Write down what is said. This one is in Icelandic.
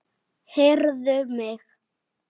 Heyrðu mig.